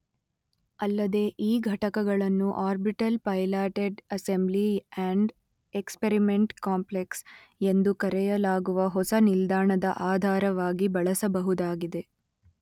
ಅಲ್ಲದೇ ಈ ಘಟಕಗಳನ್ನು orbital piloted assembly and experiment complex ಎಂದು ಕರೆಯಲಾಗುವ ಹೊಸ ನಿಲ್ದಾಣದ ಆಧಾರವಾಗಿ ಬಳಸಬಹುದಾಗಿದೆ.